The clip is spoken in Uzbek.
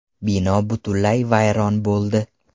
Bino butunlay vayron bo‘ldi.